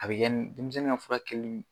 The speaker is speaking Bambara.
A be kɛ n denmisɛnnin ŋa furakɛl